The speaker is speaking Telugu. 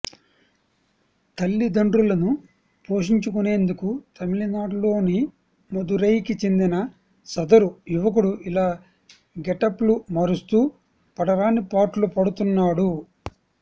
తల్లిదండ్రులను పోషించుకునేందుకు తమిళనాడులోని మదురైకి చెందిన సదరు యువకుడు ఇలా గెటప్లు మారుస్తూ పడరాని పాట్లు పడుతున్నాడు